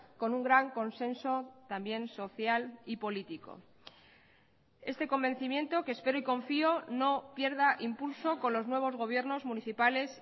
con un gran consenso también social y político este convencimiento que espero y confío no pierda impulso con los nuevos gobiernos municipales